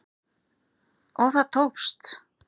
Og það tókst